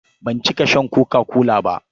Ban cika shan koka-kola ba.